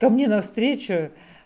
ко мне навстречу